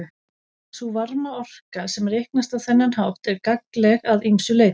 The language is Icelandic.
Sú varmaorka sem reiknast á þennan hátt er gagnleg að ýmsu leyti.